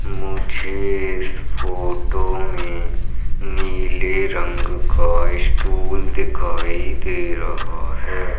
मुझे इस फोटो में नीले रंग का स्टूल दिखाई दे रहा है।